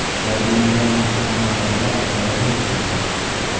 jabrlanganlar ona va bola piyoda bo‘lishgan.